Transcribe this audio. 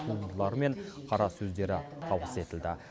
туындылары мен қара сөздері табыс етілді